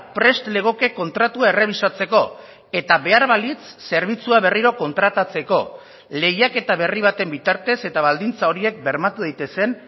prest legoke kontratua errebisatzeko eta behar balitz zerbitzua berriro kontratatzeko lehiaketa berri baten bitartez eta baldintza horiek bermatu daitezen